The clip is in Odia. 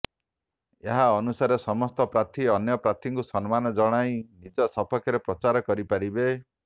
ଏହା ଅନୁସାରେ ସମସ୍ତ ପ୍ରାର୍ଥୀ ଅନ୍ୟ ପ୍ରାର୍ଥୀଙ୍କୁ ସମ୍ମାନ ଜଣାଇ ନିଜ ସପକ୍ଷରେ ପ୍ରଚାର କରିପାରିବେ